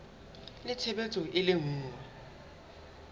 le tshebetso e le nngwe